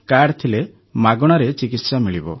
card ଥିଲେ ମାଗଣାରେ ଚିକିତ୍ସା ମିଳିବ